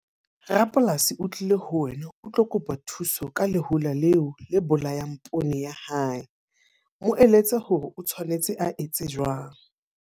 Rapolasi o tlile ho wena o tlo kopa thuso ka lehola leo la bolayang poone ya hae. Mo eletse hore o tshwanetse a etse jwang.